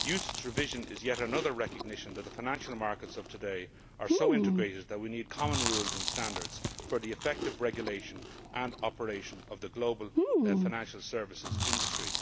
UCITS revision is yet another recognition that the financial markets of today are so integrated that we need common rules and standards for the effective regulation and operation of the global financial services industry.